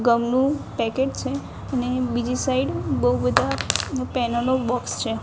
ગમ નુ પેકેટ છે અને બીજી સાઇડ બો બધા પેનલો બોક્સ છે.